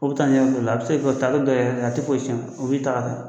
O bɛ taa n'i yɔrɔ dɔ la, a bɛ se ka ta bɛ a tɛ foyi tiɲɛ, o bi taga